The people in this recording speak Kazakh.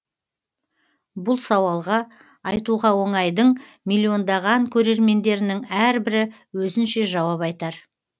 бұл сауалға айтуға оңай дың миллиондаған көрермендерінің әрбірі өзінше жауап айтар